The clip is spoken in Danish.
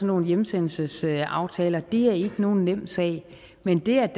nogle hjemsendelsesaftaler og det er ikke nogen nem sag men det at